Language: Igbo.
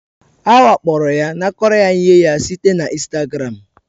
Ha wakporoya, nakoro ya ihe ya site na Instagram